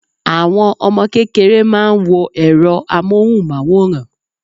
Àwọn Ọmọ kékeré máa ń wo èro amóhùn máwòrán